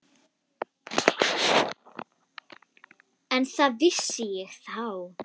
Ekki það ég vissi þá.